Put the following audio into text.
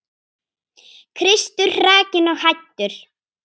Kristur hrakinn og hæddur.